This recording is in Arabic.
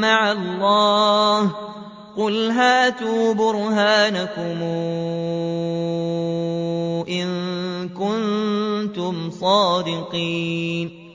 مَّعَ اللَّهِ ۚ قُلْ هَاتُوا بُرْهَانَكُمْ إِن كُنتُمْ صَادِقِينَ